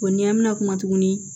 O ɲɛn mɛna kuma tuguni